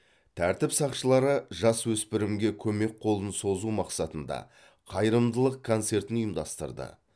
тәртіп сақшылары жасөспірімге көмек қолын созу мақсатында қайырымдылық концертін ұйымдастырды